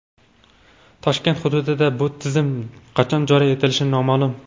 Toshkent hududida bu tizim qachon joriy etilishi noma’lum.